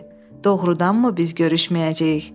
Doğrudanmı biz görüşməyəcəyik?